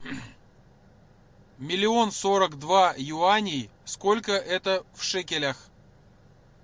миллион сорок два юаней сколько это в шекелях